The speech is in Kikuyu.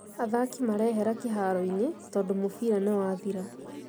Athaki mareehera kĩharoinĩ tondũmũbira nĩwathira